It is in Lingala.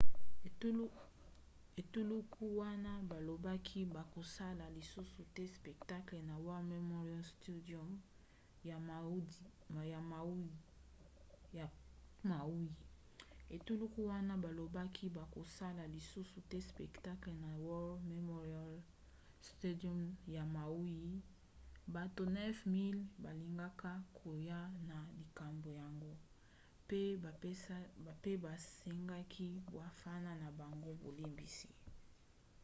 etuluku wana balobaki bakosala lisusu te spectacle na war memorial stadium ya maui; bato 9 000 balingaka koya na likambo yango pe basengaki bafana na bango bolimbisi